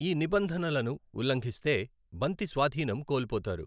ఈ నిబంధనలను ఉల్లంఘిస్తే బంతి స్వాధీనం కోల్పోతారు.